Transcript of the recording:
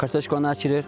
Kartoşkanı əkirik.